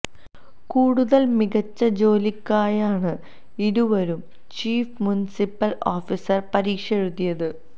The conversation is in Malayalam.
കൂടുതല് മികച്ച ജോലിക്കായാണ് ഇരുവരും ചീഫ് മുന്സിപ്പല് ഓഫീസര് പരീക്ഷ എഴുതിയത്